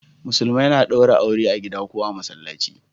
Musulmai na daure aure a gida ko a masallaci